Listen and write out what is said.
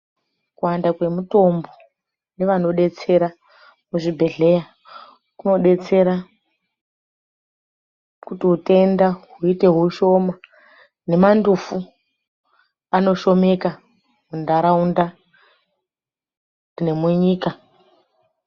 Kuwanda kwemitombo nevanobetsera kuzvibhedhlera kunobetsera kuti utenda huite hushoma nemandufu anoshomeka mundaraunda nemunyika.